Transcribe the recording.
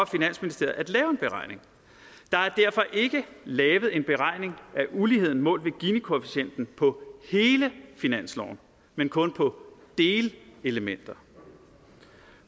finansministeriet at lave en beregning der er derfor ikke lavet en beregning af uligheden målt ved ginikoefficienten på hele finansloven men kun på delelementer